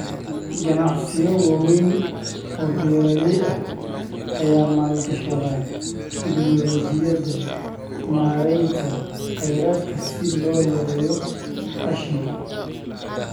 Ganacsiyo waaweyn oo beeraley ah ayaa maalgashada tignoolajiyada maareynta kheyraadka si loo yareeyo qashinka.